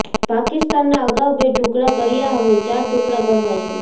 પાકિસ્તાનના અગાઉ બે ટુકડા કર્યા હવે ચાર ટુકડા કરવા જોઈએ